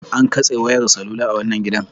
An katse wayar salula a wannan gidan.